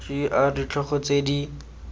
g r ditlhogo tse di